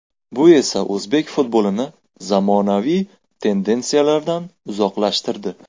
Bu esa o‘zbek futbolini zamonaviy tendensiyalardan uzoqlashtirdi.